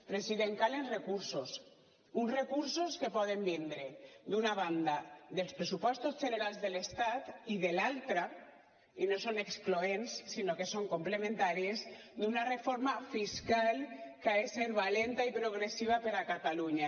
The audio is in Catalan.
president calen recursos uns recursos que poden vindre d’una banda dels pressupostos generals de l’estat i de l’altra i no són excloents sinó que són complementàries d’una reforma fiscal que ha de ser valenta i progressiva per a catalunya